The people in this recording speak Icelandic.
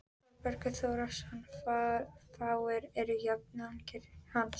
Þórbergur Þórðarson, fáir eru jafningjar hans.